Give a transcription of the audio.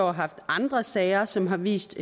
år haft andre sager som har vist